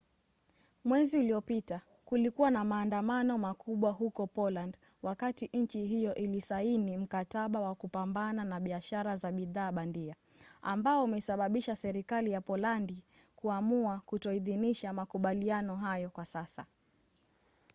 mwezi uliopita kulikuwa na maandamano makubwa huko poland wakati nchi hiyo ilisaini mkataba wa kupambana na biashara za bidhaa bandia ambao umesababisha serikali ya polandi kuamua kutoidhinisha makubaliano hayo kwa sasa